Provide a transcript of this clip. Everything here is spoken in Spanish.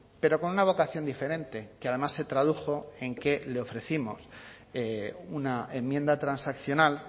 pero con una vocación diferente que además se tradujo en que le ofrecimos una enmienda transaccional